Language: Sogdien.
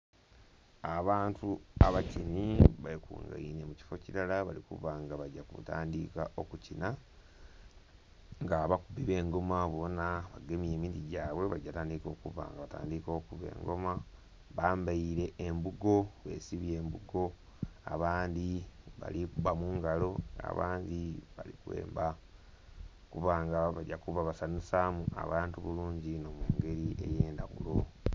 Abantu abakinhi bekungainhe mu kifo kilala bali kuba nga bagya kutandiika okukinha. Nga abakubi b'engoma bonha bagemye emiti gyabwe, bagya tandika okuba nga batandiika okuba engoma. Bambaile embugo, besibye embugo. Abandhi bali kuba mu ngalo, abandhi bali kwemba, kuba nga bagya kuba basanhusaamu abantu bulungi inho mu ngeri ey'endhaghulo.